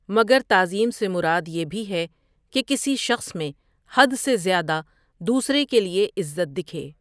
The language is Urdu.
مگر تعظیم سے مراد یہ بھی ہے کہ کسی شخص میں حد سے زیادہ دوسرے کے لیے عزت دکھے۔